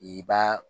I b'a